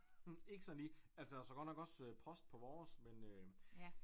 Ikke sådan lige altså der står godt nok også post på vores men øh